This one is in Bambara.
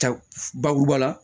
Ka bakuruba la